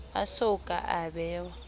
a so ka a bewa